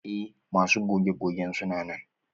Eh masu goge gogen suna nan.